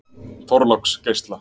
Þorláksgeisla